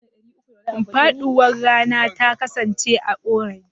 Faɗuwar rana ta kasance orange.